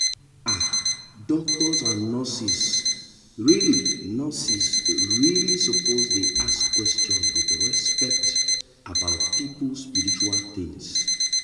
ah doctors and nurses really nurses really suppose dey ask quetion with respect about people spiritual tins